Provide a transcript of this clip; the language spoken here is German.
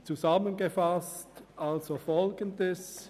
Ich fasse zusammen: